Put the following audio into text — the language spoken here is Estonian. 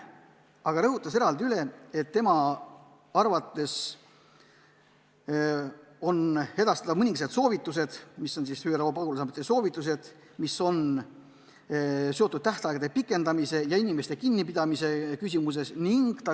Aga ta soovis edastada mõningased ÜRO pagulasameti soovitused, mis on seotud tähtaegade pikendamise ja inimeste kinnipidamise küsimustega.